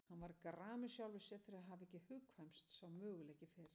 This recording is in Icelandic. Hann varð gramur sjálfum sér fyrir að hafa ekki hugkvæmst sá möguleiki fyrr.